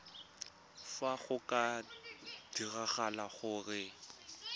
fa go ka diragala gore